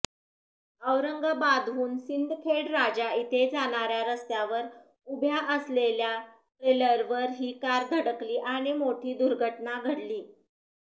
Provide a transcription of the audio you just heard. औरंगाबादहून सिंदखेडराजा इथे जाणाऱ्या रस्त्यावर उभ्या असलेल्या ट्रेलरवर ही कार धडकली आणि मोठी दुर्घटना घडली